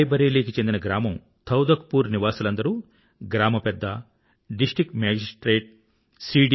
రాయ్ బరేలీ కు చెందిన గ్రామం తౌధక్ పూర్ నివాసులందరూ గ్రామ పెద్ద డిస్ట్రిక్ట్ మేజిస్ట్రేట్ సి